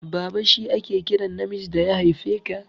Baba shi ake kiran namiji da ya haife ka.